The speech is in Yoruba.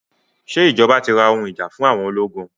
Ṣé ìjọba ti ra ohun ìjà fún àwọn ológun?